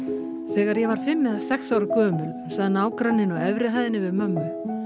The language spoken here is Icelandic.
þegar ég var fimm eða sex ára gömul sagði nágranninn á efri hæðinni við mömmu